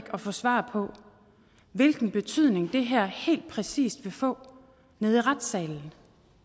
at få svar på hvilken betydning det her helt præcist vil få i retssalen